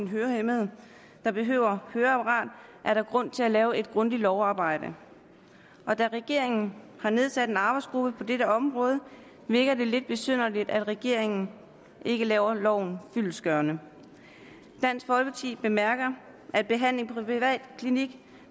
hørehæmmede der behøver høreapparat er der grund til at lave et grundigt lovarbejde og da regeringen har nedsat en arbejdsgruppe på dette område virker det lidt besynderligt at regeringen ikke laver loven fyldestgørende dansk folkeparti bemærker at behandling på privat klinik